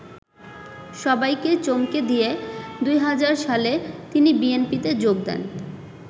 সবাইকে চমকে দিয়ে ২০০০ সালে তিনি বিএনপিতে যোগ দেন।